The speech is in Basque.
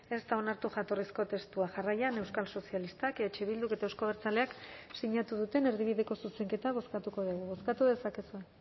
ez da onartu jatorrizko testua jarraian euskal sozialistak eh bilduk eta euzko abertzaleak sinatu duten erdibideko zuzenketa bozkatuko dugu bozkatu dezakezue